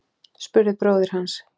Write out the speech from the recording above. spurði bróðir hans.